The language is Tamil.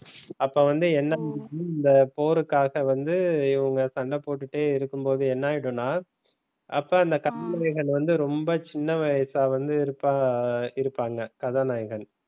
அப்ப வந்து இந்த போருக்காக வந்து இவங்க சண்டை போட்டுக்கிட்டே இருக்கும் போது என்ன ஆகிடும்ன அப்ப அந்த கதாநாயகன் வந்து ரொம்ப சின்ன வயசா வந்து இருப்பா இருப்பாங்க கதாநாயகன்.